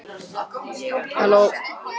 Þið þurfið ekki að vera hrædd við Dóra á Her.